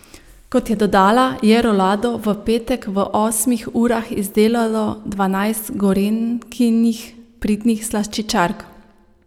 Kot je dodala, je rolado v petek v osmih urah izdelalo dvanajst Gorenjkinih pridnih slaščičark.